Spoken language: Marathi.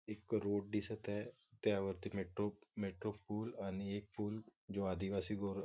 एक रोड दिसत आहे त्यावरती मेट्रो मेट्रो पूल आणि एक पूल जो आदिवासी गोर--